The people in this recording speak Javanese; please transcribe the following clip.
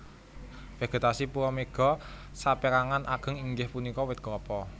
Vegetasi pulo Mega saperangan ageng inggih punika wit Klapa